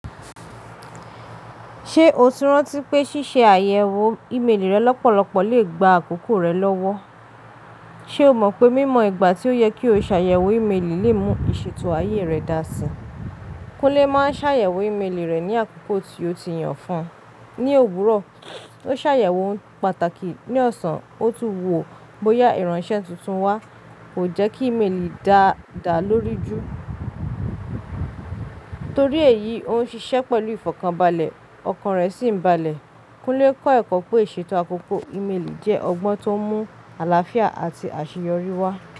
Ṣé o ti rántí pé ṣíṣe àyẹ̀wò ìméèlì rẹ lọ́pọ̀lọpọ̀ lè gba àkókò rẹ lọ́wọ́? Ṣé o mọ̀ pé mímọ ìgbà tí ó yẹ kí o ṣàyẹ̀wò ìméèlì lè mú ìṣètò ayé rẹ dáa síi? Kúnlé máa ń ṣàyẹ̀wò ìméèlì rẹ̀ ní àkókò tí ó ti yàn fún ní òwúrọ̀. Ó ṣàyẹ̀wò ohun pàtàkì ní ọ̀sán, ó tún wo bóyá ìránṣẹ́ tuntun wá. Kò jẹ́ kí ìméèlì dàda lórí jù. Torí èyí, ó ń ṣiṣẹ́ pẹ̀lú ìfọ̀kànbalẹ̀, ọkàn rẹ̀ sì ń balẹ̀. Kúnlé kọ́ ẹ̀kọ́ pé ìṣètò àkókò ìméèlì jẹ́ ọgbọ́n tó mú àlàáfíà àti àṣeyọrí wá.